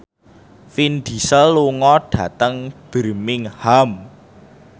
Vin Diesel lunga dhateng Birmingham